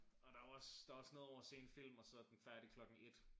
Og der jo også der også noget over at se en film og så den færdig klokken et